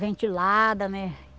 Ventilada, né?